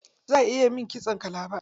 Za ayi min kitson kalaba.